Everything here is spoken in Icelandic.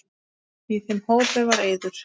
Í þeim hópi var Eiður.